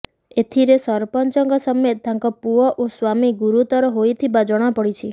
ଏଥିରେ ସରପଞ୍ଚଙ୍କ ସମେତ ତାଙ୍କ ପୁଅ ଓ ସ୍ବାମୀ ଗୁରୁତର ହୋଇଥିବା ଜଣାପଡିଛି